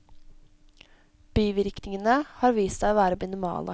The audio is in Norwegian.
Bivirkningene har vist seg å være minimale.